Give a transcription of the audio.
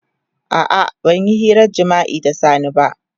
A'a ban yi hirar jima'i da Sani ba.